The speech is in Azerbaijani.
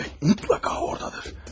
Bəli, mütləqa oradadır.